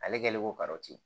Ale kɛlen ko ka ten